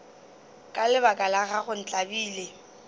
ka lebaka la gago ntlabile